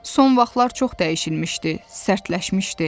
Son vaxtlar çox dəyişilmişdi, sərtləşmişdi.